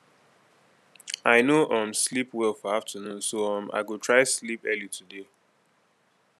i no um sleep well for afternoon so um i go try sleep early today